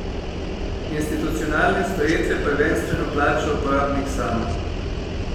Institucionalne storitve prvenstveno plača uporabnik sam.